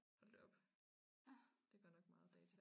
Hold da op det godt nok meget data